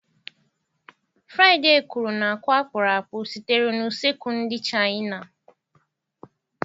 Fraịde kwuru na àkwá-akpụrụakpụ sitere na usekwu ndị Chaịna.